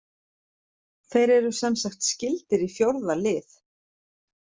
Þeir eru semsagt skyldir í fjórða lið.